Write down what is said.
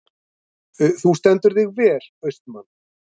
Þú stendur þig vel, Austmann!